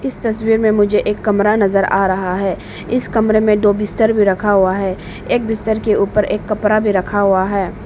इस तस्वीर में मुझे एक कमरा नजर आ रहा है इस कमरे में दो बिस्तर में रखा हुआ है एक बिस्तर के ऊपर एक कपड़ा भी रखा हुआ है।